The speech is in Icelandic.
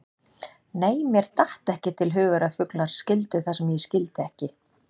Nei, mér datt ekki til hugar að fuglar skildu það sem ég skildi ekki.